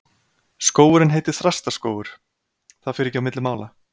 Skógurinn heitir Þrastaskógur, það fer ekki á milli mála.